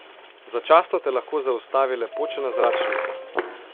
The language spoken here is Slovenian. Začasno te lahko zaustavi le počena zračnica.